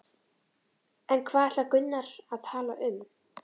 En hvað ætlar Gunnar að tala um?